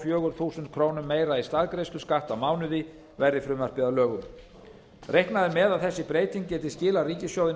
fjögur þúsund krónum meira í staðgreiðsluskatt á mánuði verði frumvarpið að lögum reiknað er með að þessi breyting geti skilað ríkissjóði